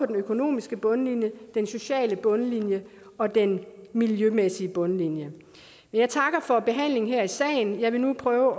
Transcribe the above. den økonomiske bundlinje den sociale bundlinje og den miljømæssige bundlinje jeg takker for behandlingen her i salen og jeg vil nu prøve